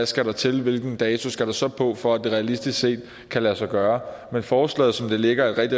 skal til hvilken dato der så skal på for at det realistisk set kan lade sig gøre men forslaget som det ligger er et